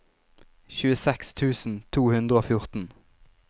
tjueseks tusen to hundre og fjorten